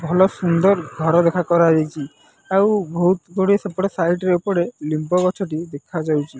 ଭଲ ସୁନ୍ଦର ଘର ଦେଖା କରାଯାଇଛି ଆଉ ବହୁତ ଗୋଟିଏ ସେପଟେ ସାଇଡ ରେ ସେପଟେ ଲିମ୍ୱ ଗଛ ଟି ଦେଖା ଯାଉଅଛି ।